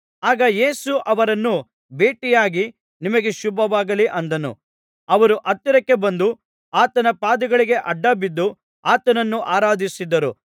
ಆಗ ಯೇಸು ಅವರನ್ನು ಭೇಟಿಯಾಗಿ ನಿಮಗೆ ಶುಭವಾಗಲಿ ಅಂದನು ಅವರು ಹತ್ತಿರಕ್ಕೆ ಬಂದು ಆತನ ಪಾದಗಳಿಗೆ ಅಡ್ಡಬಿದ್ದು ಆತನನ್ನು ಆರಾಧಿಸಿದರು